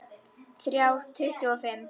Þrjá tuttugu og fimm!